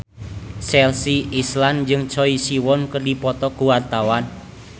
Chelsea Islan jeung Choi Siwon keur dipoto ku wartawan